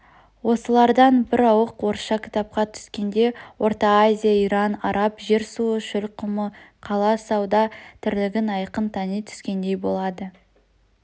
осылардан бір ауық орысша кітапқа түскенде орта-азия иран араб жер-суы шөл-құмы қала-сауда тірлігін айқын тани түскендей болады